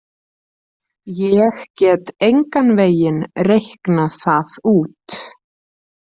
Ég get engan veginn reiknað það út.